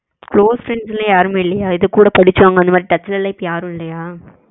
close friends எல்லாம் யாருமே இல்லையா இத கூட படிச்சவுங்க அந்தமாதிரி touch ல எல்லாம் இப்போ யாரும் இல்லயா?